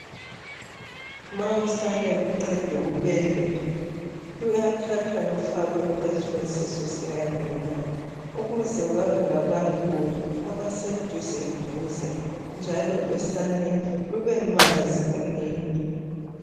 Ma usane luq3dwa ukubelethwa. Luyathathwa lufakwe phezu kwesisu sikanina. Ukuze babe ngabantu abaseduzeduze, njalo losane, lubemazi unina.